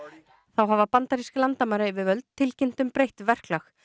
þá hafa bandarísk landamærayfirvöld tilkynnt um breytt verklag